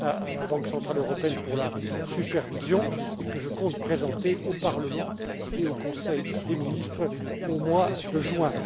à la Banque centrale européenne pour la supervision, et que je compte présenter au Parlement et au Conseil des ministres au mois